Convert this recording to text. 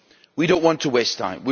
We do not want to waste time.